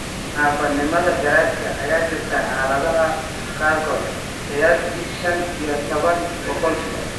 Naafanimada garaadka ayaa jirta xaaladaha qaarkood (qiyaastii shan iyo tawan boqolkiiba).